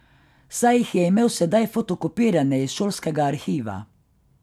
Saj jih je imel sedaj fotokopirane iz šolskega arhiva.